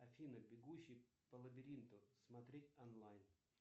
афина бегущий по лабиринту смотреть онлайн